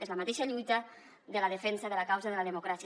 és la mateixa lluita de la defensa de la causa de la democràcia